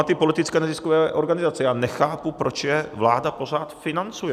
A ty politické neziskové organizace, já nechápu, proč je vláda pořád financuje.